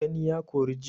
Gani ya kori ji.